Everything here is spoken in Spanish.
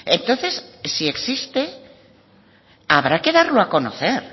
entonces si existe habrá que darlo a conocer